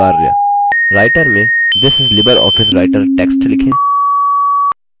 writer में this is libreoffice writer text लिखें